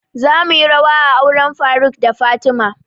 Za muyi rawa a auren faruk da fatima